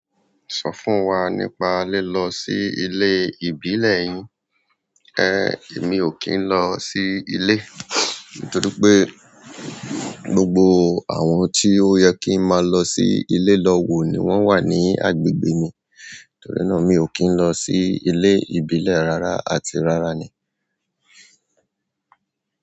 Sọ fún wa nípa lilọ sí ilé ìbílẹ̀ yín. Èmi ò kí n lọ sí ilé nítorí pé gbogbo àwọn tí ó yẹ kí n máa lọ sí ilé lọ wò ni wọ́n wà ní agbègbè mi. Nítorí náà mi ò kí n lọ sí ilé ìbílẹ̀ rárá àti rárá ni.